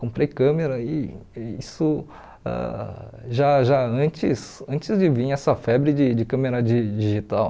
Comprei câmera e isso ãh já já antes antes de vir essa febre de de câmera di digital.